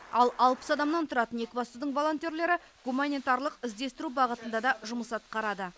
ал алпыс адамнан тұратын екібастұздың волонтерлері гуманитарлық іздестіру бағытында да жұмыс атқарады